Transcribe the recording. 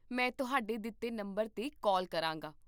ਮੈਂ ਤੁਹਾਡੇ ਦਿੱਤੇ ਨੰਬਰ 'ਤੇ ਕਾਲ ਕਰਾਂਗਾ